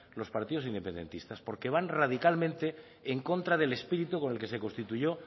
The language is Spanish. los partidos independentistas porque van radicalmente en contra del espíritu con el que se constituyó